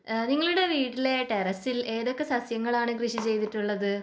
ഏഹ് നിങ്ങളുടെ വീട്ടിലെ ടെറസിൽ ഏതൊക്കെ സസ്യങ്ങളാണ് കൃഷി ചെയ്തിട്ടുള്ളത്?